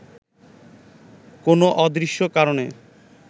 কোনো অদৃশ্য কারণে